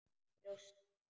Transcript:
Brjóst mín.